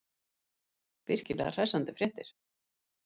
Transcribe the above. Virkilega hressandi fréttir.